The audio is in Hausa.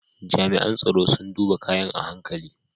Jami’an tsaro sun duba kayan a hankali.